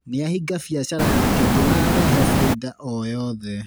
Nĩahinga biacara yake ndĩrarehe baida o yothe.